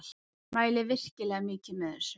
Mæli virkilega mikið með þessu.